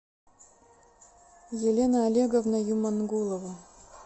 елена олеговна юмангулова